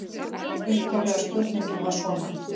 Upphaflega spurningin var svona: